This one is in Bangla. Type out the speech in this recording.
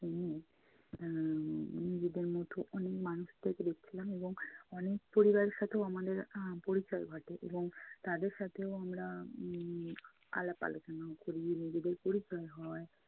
সেখানে আহ নিজেদের মতো অনেক মানুষদের দেখছিলাম এবং অনেক পরিবারের সাথেও আমাদের আহ পরিচয় ঘটে এবং তাদের সাথেও আমরা উম আলাপ আলোচনাও করি। নিজেদের পরিচয় হয়।